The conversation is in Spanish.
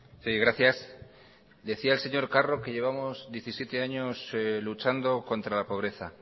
sí gracias decía el señor carro que llevamos diecisiete años luchando contra la pobreza